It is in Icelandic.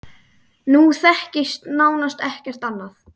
Nú þekkist nánast ekkert annað.